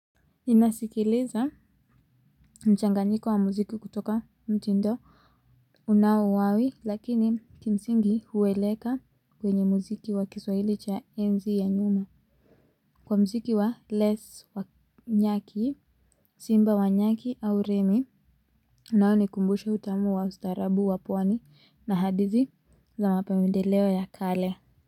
Inasikiliza mchanganyiko wa muziki kutoka mtindo unaowawi lakini kimsingi hueleka kwenye muziki wa kiswahili cha enzi ya nyuma. Kwa muziki wa les wa nyaki Simba wa nyaki au remi unaonikumbushe utamu wa ustaarabu wa pwani na hadithi za mapendeleo ya kale.